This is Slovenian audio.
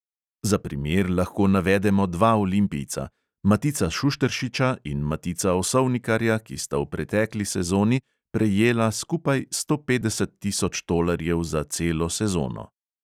Za primer lahko navedemo dva olimpijca – matica šušteršiča in matica osovnikarja, ki sta v pretekli sezoni prejela skupaj sto petdeset tisoč tolarjev za celo sezono.